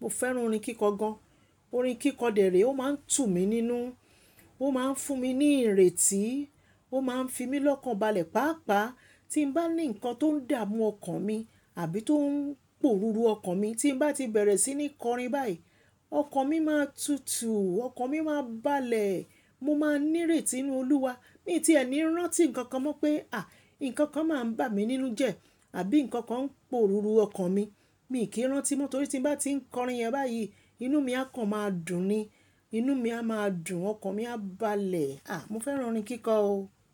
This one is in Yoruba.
Mo fẹ́ràn orin kíkọ gan-an. Orin kíkọ dẹ̀ rèé, ó máa ń tù mí nínú. Ó máa ń fún mi ní ìrètí. Ó máa ń fi mí lọ́kàn balẹ̀. Pàápàá tí ń bá ní nǹkan tó ń dààmú ọkàn mi àbí tó ń pòruru ọkàn mi, tí n bá ti bẹ̀rẹ̀ sí ní kọrin báyìí, ọkàn mi máa tutù, ọkàn mi máa balẹ̀. Mo máa nírètí ń'nú Olúwa. Miì tiẹ̀ ní rántí nǹkan kan mọ́ pé à, nǹkan kan mà ń bà mí nínú jẹ́, àbí nǹkan kan ń pòruru ọkàn mi, miì kí ń rántí mọ́, torí tí ń bá ti ń kọrin yẹn báyìí, inú mi á kàn máa dùn ni. Inú mi á máa dùn, ọkàn mi á balẹ̀. Mo fẹ́ràn orin kíkọ o.